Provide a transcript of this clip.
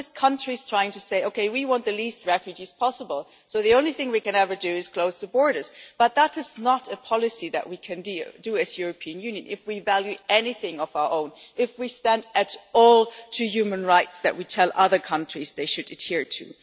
It is always countries trying to say that they want the lowest number of refugees possible so the only thing they can ever do is close the borders, but that is not a policy that we can carry out as the European Union if we value anything of our own and if we stand at all for the human rights that we tell other countries that they should adhere to.